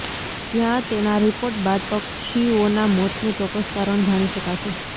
જ્યાં તેના રિપાર્ટ બાદ પક્ષીઓના મોતનુ ચોક્કસ કારણ જાણી શકાશે